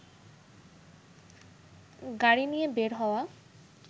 গাড়ি নিয়ে বের হওয়া